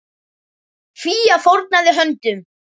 Fía fórnaði höndum.